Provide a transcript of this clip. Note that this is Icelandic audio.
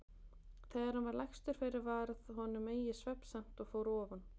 Þegar hann var lagstur fyrir varð honum eigi svefnsamt og fór ofan.